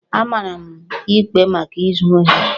A mara m ikpe maka izu ohi